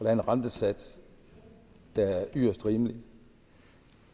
er en rentesats der er yderst rimelig